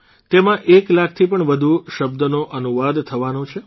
તેમાં એક લાખથી પણ વધુ શબ્દોનો અનુવાદ થવાનો છે